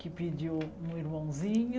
Que pediu um irmãozinho.